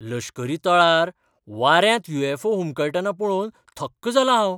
लश्करी तळार वाऱ्यांत यु. अॅफ. ओ. हुमकळटना पळोवन थक्क जालां हांव.